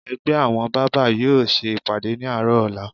Ẹgbẹ́ àwọn bábà yóò ṣe ìpàdé ní àárọ̀ ọ̀la